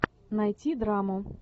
найти драму